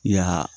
Ya